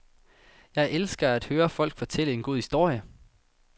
Jeg elsker at høre folk fortælle en god historie.